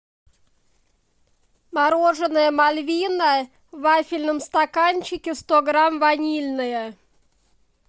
мороженое мальвина в вафельном стаканчике сто грамм ванильное